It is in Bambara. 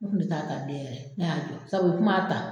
Ne kun tɛ taa ta bilen yɛrɛ ne y'a jɔ sabu o tum'a ta